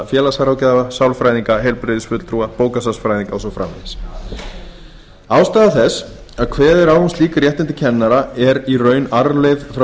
félagsráðgjafa sálfræðinga heilbrigðisfulltrúa bókasafnsfræðinga og svo framvegis ástæða þess að kveðið er á um slík réttindi kennara er í raun arfleifð frá